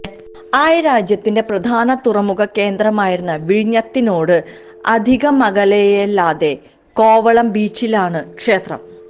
ആയ് രാജ്യത്തിന്റെ പ്രധാന തുറമുഖ കേന്ദ്രമായിരുന്ന വിഴിഞ്ഞത്തിനോട് അധികമകലെയല്ലാതെ കോവളം ബീച്ചിലാണ് ക്ഷേത്രം